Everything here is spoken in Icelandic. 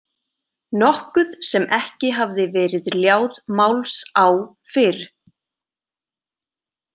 Nokkuð sem ekki hafði verið ljáð máls á fyrr.